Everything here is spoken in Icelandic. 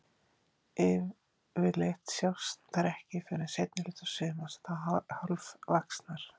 Yfirleitt sjást þær ekki fyrr en seinni hluta sumars, þá hálfvaxnar.